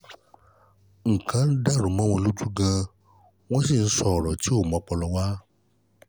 nnlkan dàrú mọ́ wọn lójú gan-an wọ̀n sì ń sọ̀rọ̀ tí kò mú ọpọlọ wá